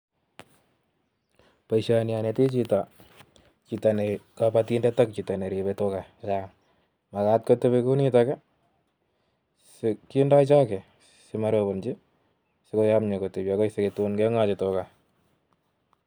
Boishoni anetii chito, chito nekobotindet ak chito neribe tugaa chechang alenyini makat kotebii kounitok kindoo chogoo sikoyomyo sikomorobochii ak tun kenganyin tugaa